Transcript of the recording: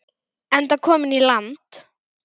Enda kominn í land.